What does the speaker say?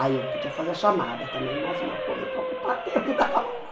Aí eu podia fazer a chamada também, mais uma coisa para ocupar tempo da aula.